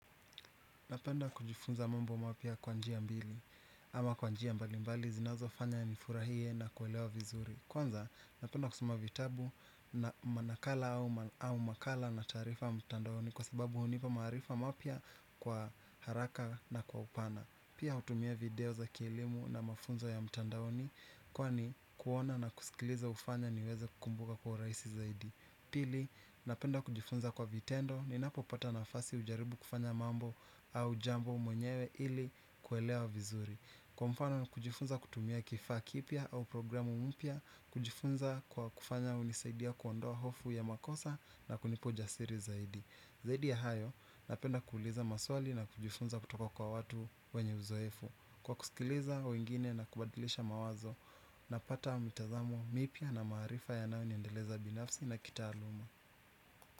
Napenda kujifunza mambo mapya kwa njia mbili ama kwa njia mbalimbali zinazofanya nifurahie na kuelewa vizuri. Kwanza napenda kusuma vitabu na manakala au makala na taarifa mtandaoni kwa sababu hunipa maarifa mapya kwa haraka na kwa upana. Pia hutumia video za kielimu na mafunzo ya mtandaoni kwani kuona na kusikiliza hufanya niweze kukumbuka kwa urahisi zaidi. Pili, napenda kujifunza kwa vitendo ninapopata nafasi hujaribu kufanya mambo au jambo mwenyewe ili kuelea vizuri. Kwa mfano na kujifunza kutumia kifaa kipia au programu mpya. Kujifunza kwa kufanya unisaidia kuondoa hofu ya makosa na kunipa ujasiri zaidi, zaidi ya hayo, napenda kuuliza maswali na kujifunza kutoka kwa watu wenye uzoefu. Kwa kusikiliza wengine na kubadilisha mawazo napata mitazamo mipya na maarifa yanayo niendeleza binafsi na kitaaluma.